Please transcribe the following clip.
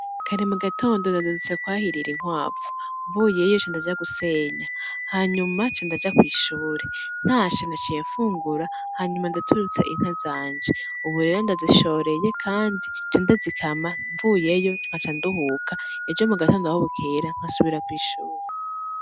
Kare mu gatondo nazindutse kwahirir'inkwavu, mvuyeyo ca ndaja gusenya , hanyuma ca ndaja kw'ishure , ntashe naciye mfungura , hanyuma ndaturutse inka zanje ubu rero ndazishoreye kandi nca ndazikama mvuyeyo nkaca nduhuka ejo mu gatondo aho bukera nkaja kw'ishure.